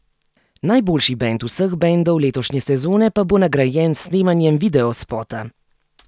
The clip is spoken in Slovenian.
Najboljši bend vseh bendov letošnje sezone pa bo nagrajen s snemanjem videospota!